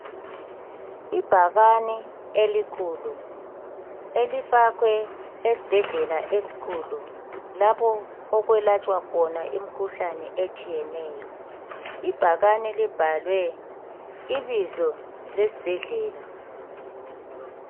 Ibhakane elikhulu. Elifakwe esibhedlela esikhulu. Lapho okwelatshwa imikhuhlane etshiyeneyo. Ibhakanee libhalwe ibizo lesibhedlela.